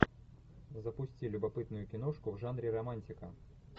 запусти любопытную киношку в жанре романтика